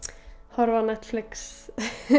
horfa á Netflix